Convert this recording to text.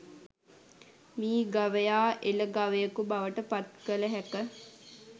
මී ගවයා එළ ගවයකු බවට පත් කළ හැක